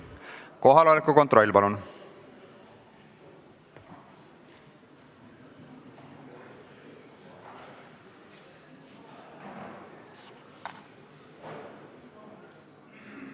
Kohaloleku kontroll, palun!